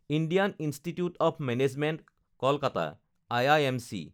Indian Institute of Management Kolkata (IIMC)